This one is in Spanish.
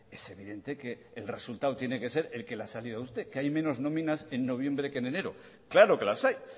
es evidente que el resultado tiene que ser el que le ha salido a usted que hay menos nóminas en noviembre que en enero claro que las hay